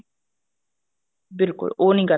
ਬਿਲਕੁਲ ਉਹ ਨਹੀਂ ਕਰ